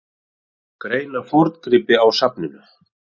Greina forngripi á safninu